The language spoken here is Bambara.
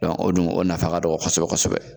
Dɔn o dun o nafa ka dɔgɔ kɔsɛbɛ kɔsɛbɛ